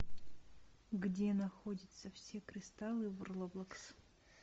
где находятся все кристаллы в роблокс